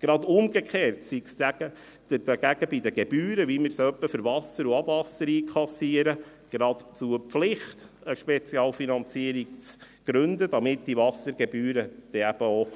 Gerade umgekehrt sei es dagegen bei den Gebühren, wie wir sie etwa für das Wasser oder Abwasser einkassieren, geradezu eine Pflicht, eine Spezialfinanzierung zu gründen, damit die Wassergebühren dann eben auch